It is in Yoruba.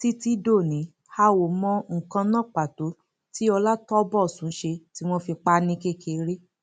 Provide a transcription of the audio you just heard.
títí dòní a ò mọ nǹkan náà pàtó tí ọlátọbósùn ṣe tí wọn fi pa á ní kékeré